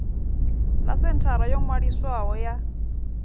ḽa senthara yo ṅwaliswaho ya